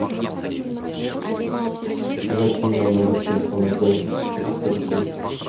закинь на номер телефона дяди четыреста рублей